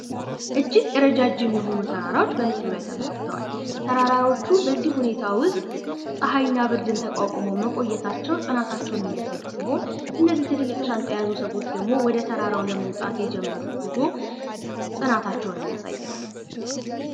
እጅግ እረጃጅም የሆኑ ተራራዎች በምስሉ ላይ ተመልክተዋል። ተራራዎቹ በዚህ ሁኔታ ውስጥ ፀሀይና ብርዱን ተቋቁመው መቆየታቸው ጥናታቸውን የሚያሳይ ሲሆን እነዚህ ትልልቅ ሻንዛ የያዙ ሰዎች ደሞ ወደ ተራራው ለመውጣት የጀመሩት ጉዞ ፅናታቸውን የሚያሳይ ነው።